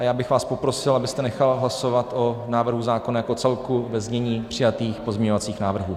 A já bych vás poprosil, abyste nechal hlasovat o návrhu zákona jako celku ve znění přijatých pozměňovacích návrhů.